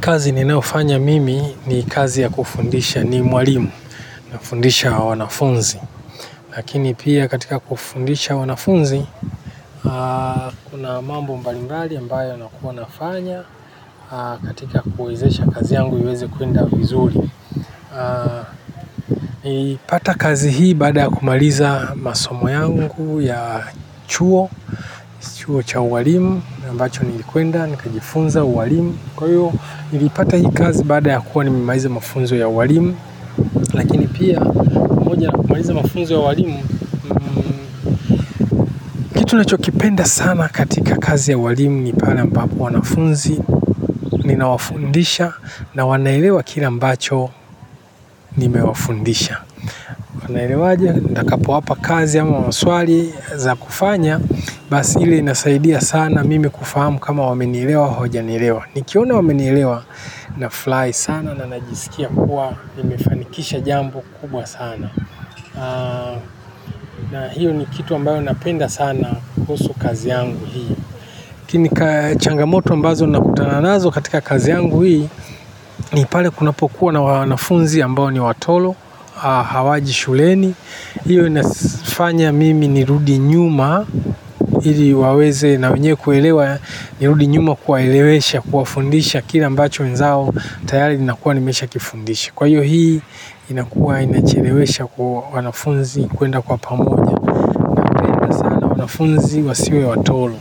Kazi ninayofanya mimi ni kazi ya kufundisha ni mwalimu, nafundisha wanafunzi. Lakini pia katika kufundisha wanafunzi, kuna mambo mbalimbali ambayo nakua nafanya katika kuwezesha kazi yangu iweze kuenda vizuri. Ipata kazi hii baada ya kumaliza masomo yangu ya chuo, chuo cha ualimu, nambacho nilikwenda, nikajifunza uwalimu. Kwa hiyo, nilipata hii kazi baada ya kuwa ni memaiza mafunzo ya uwalimu. Lakini pia mmoja na kumaiza mafunzo ya walimu. Kitu nilichokipenda sana katika kazi ya ualimu ni pale ambapo wanafunzi ninawafundisha na wanaelewa kila ambacho nimewafundisha wa naelewaje, nitakapo wapa kazi ama maswali za kufanya. Basi hile inasaidia sana mimi kufahamu kama wamenielewa hawaja nielewa. Nikiona wamenielewa na furahi sana na najisikia kuwa nimefanikisha jambo kubwa sana na hiyo ni kitu ambayo napenda sana kuhusu kazi yangu hii kini changamoto ambazo nakutananazo katika kazi yangu hii. Ni pale kuna po kuwa na wanafunzi ambayo ni watolo. Hawaji shuleni. Hiyo inafanya mimi ni rudinyuma ili waweze na wenyewe kuelewa. Niludi nyuma kuwaelewesha, kuwafundisha kile ambacho wenzao tayari ninakua nimesha kifundisha. Kwa hiyo hii inakuwa inachelewesha kwa wanafunzi kuenda kwa pamoja. Wanafunzi wasiwe watolo.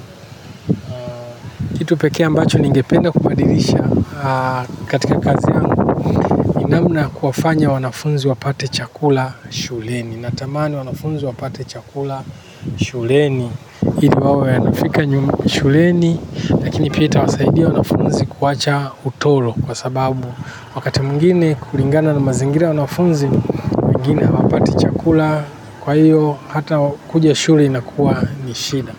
Kitu pekee a mbacho ningependa kubadirisha katika kazi yangu ni namna kuwafanya wanafunzi wapate chakula shuleni. Natamani wanafunzi wapate chakula shuleni ili wawe a nafika nyum shuleni lakini pia ita wasaidia wanafunzi kuwacha utolo kwa sababu wakati mwingine kuringana na mazingira ya wanafunzi wengine hawapati chakula kwa hiyo hata kuja shule inakuwa nishida.